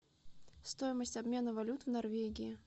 стоимость обмена валют в норвегии